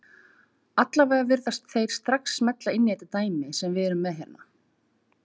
Allavega virðast þeir strax smella inn í þetta dæmi sem við erum með hérna.